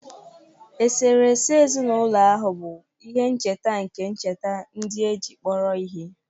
Eserese ezinụlọ ahụ bu ihe ncheta nke ncheta ndị e ji kpọrọ ihe.